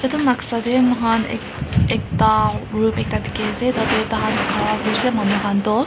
etu noksa teh moi khan ek ekta room ekta dikhi ase tate tai khan khara kuri se manu khan toh.